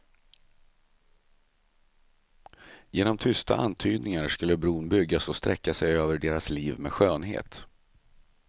Genom tysta antydningar skulle bron byggas och sträcka sig över deras liv med skönhet.